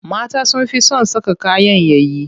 Mata sun fi son saka kayan yayi.